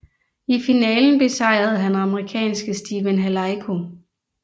I finalen besejrede han amerikanske Stephen Halaiko